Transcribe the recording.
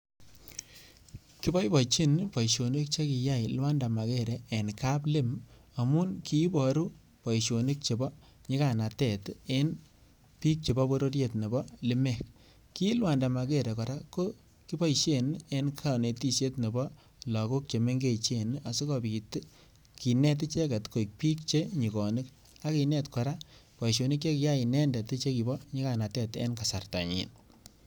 Kiboiboichin boishonik chekiyai Luanda Magere eng kaplem amun kiiporu boishonik chebo nyikanatet eng piik chebo pororiet nebo lemek ki Luanda Magere kora ko koboishen eng kanetishet nebo lagok chemengechen asikopit kenet icheget koek piik chenyikonik agenet kora boishonik chekiyai inendet chebo nyikanatet eng kasartanyin